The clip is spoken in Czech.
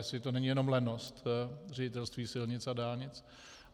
Jestli to není jenom lenost Ředitelství silnic a dálnic.